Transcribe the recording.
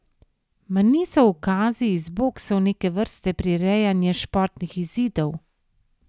Mar niso ukazi iz boksov neke vrste prirejanje športnih izidov?